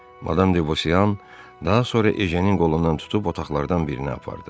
Madam Debosyan daha sonra Ejənin qolundan tutub otaqlardan birinə apardı.